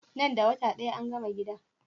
Nan da wata daya angama gidan?